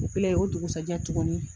O kɛlen o dugusajɛ tuguni